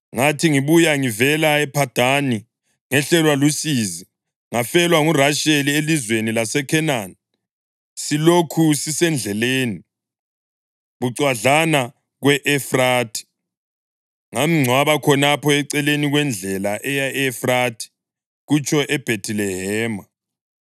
Ngathi ngibuya ngivela ePhadani, ngehlelwa lusizi ngafelwa nguRasheli elizweni laseKhenani silokhu sisendleleni, bucwadlana kwe-Efrathi. Ngamngcwaba khonapho eceleni kwendlela eya e-Efrathi” (kutsho eBhethilehema).